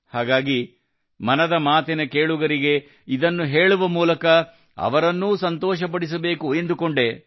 ಹಾಗಾಗಿ ಮನದ ಮಾತಿನ ಕೇಳುಗರಿಗೆ ಇದನ್ನು ಹೇಳುವ ಮೂಲಕ ಅವರನ್ನೂ ಸಂತೋಷಪಡಿಸಬೇಕು ಎಂದುಕೊಂಡೆ